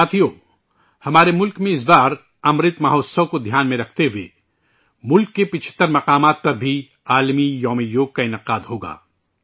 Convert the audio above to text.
ساتھیو، ہمارے ملک میں اس بار 'امرت مہوتسو' کو ذہن میں رکھتے ہوئے ملک کے 75 اہم مقامات پر بھی 'بین الاقوامی یوگ دیوس' کا انعقاد ہوگا